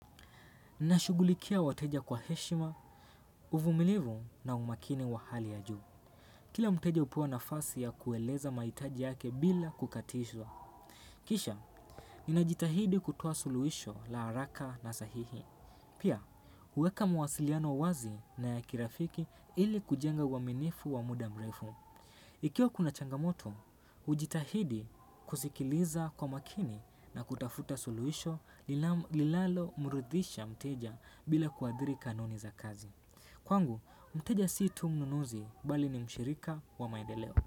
Nashugulikia wateja kwa heshima, uvumilivu na umakini wa hali ya juu. Kila mteja hupewa nafasi ya kueleza mahitaji yake bila kukatishwa. Kisha, ninajitahidi kutoa suluhisho la haraka na sahihi. Pia, huweka mawasiliano wazi na ya kirafiki ili kujenga uwaminifu wa muda mrefu. Ikiwa kuna changamoto, hujitahidi kusikiliza kwa makini na kutafuta suluhisho linalomurudhisha mteja bila kuadhiri kanuni za kazi. Kwangu, mteja si tu mnunuzi bali ni mshirika wa maendeleo.